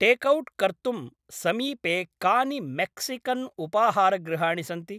Takeout कर्तुं समीपे कानि मेक्सिकन्उपाहारगृहाणि सन्ति?